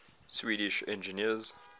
swedish engineers